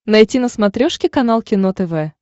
найти на смотрешке канал кино тв